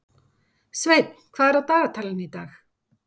Sveinn, hvað er á dagatalinu í dag?